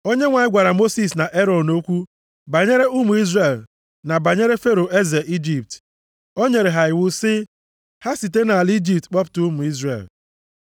Onyenwe anyị gwara Mosis na Erọn okwu banyere ụmụ Izrel na banyere Fero eze Ijipt. O nyere ha iwu sị ha site nʼala Ijipt kpọpụta ụmụ Izrel.